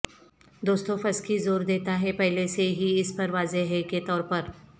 Dostoevsky زور دیتا ہے پہلے سے ہی اس پر واضح ہے کے طور پر